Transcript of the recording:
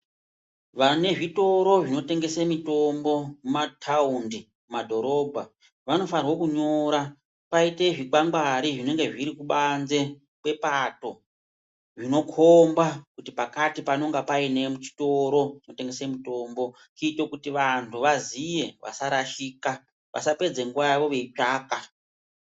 Vane zvitoro zvinotengese mitombo mumathaundi mumadhorobha vanofanirwa kunyora paite zvikwangwari zvinenge zviri kubanze kwepato zvinokhomba kuti pakati panenge paine chitoro chinotengese mitombo kuite kuti vanhu vaziye vasarashika vasapedze nguva yawo veitsvaka.